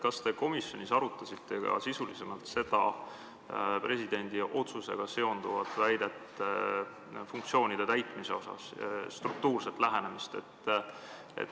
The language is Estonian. Kas te komisjonis arutasite ka sisulisemalt seda presidendi otsusega seonduvat väidet funktsioonide täitmise kohta, struktuurset lähenemist?